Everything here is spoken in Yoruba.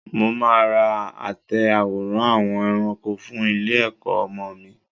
Mo máa ra àtẹ àwòrán àwọn ẹranko fún ilé-ẹ̀kọ́ ọmọ mi.